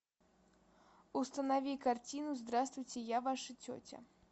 установи картину здравствуйте я ваша тетя